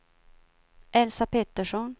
Elsa Pettersson